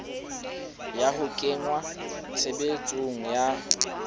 ya ho kenngwa tshebetsong ha